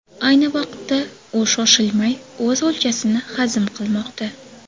Ayni vaqtda u shoshilmay o‘z o‘ljasini hazm qilmoqda.